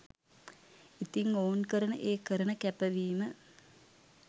ඉතිං ඔවුන් කරන ඒ කරන කැපවීම